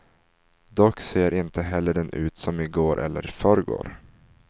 Dock ser inte heller den ut som i går eller förrgår.